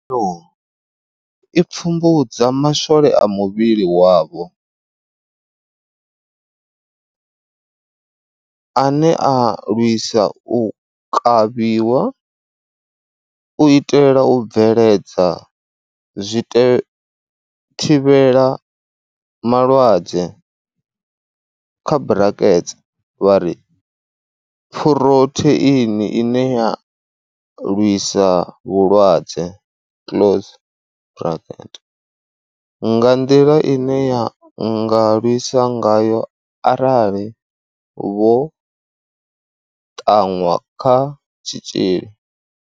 Khaelo i pfumbudza ma swole a muvhili wavho ane a lwisa u kavhiwa, u itela u bveledza zwithivhelamalwadze, kha brakets vhari phurotheini ine ya lwisa vhulwadze close braket, nga nḓila ine ya nga lwisa ngayo arali vho ṱaṅwa kha tshitzhili.